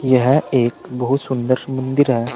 यह एक बहुत सुंदर मंदिर है।